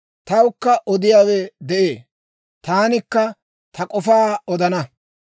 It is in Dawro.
Tawukka odiyaawe de'ee; taanikka ta k'ofaa odana.